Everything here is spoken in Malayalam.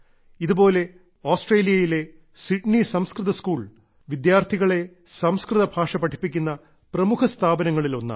ഇതുപോലെ ഓസ്ട്രേലിയയിലെ സിഡ്നി സംസ്കൃത സ്കൂൾ വിദ്യാർഥികളെ സംസ്കൃത ഭാഷ പഠിപ്പിക്കുന്ന പ്രമുഖ സ്ഥാപനങ്ങളിൽ ഒന്നാണ്